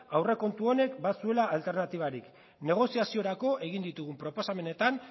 aurrekontu honek bazuela alternatibarik negoziaziorako egin ditugun proposamenetan